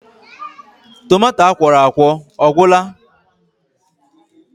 Tomato akwọrọakwọ ọ gwụla?